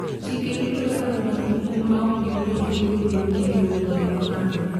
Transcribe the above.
Chike rito kaka jodak moko ma ok gin jopinyno bedo gi lowo ma gipangi.